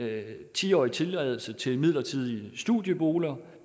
ti årig tilladelse til midlertidige studieboliger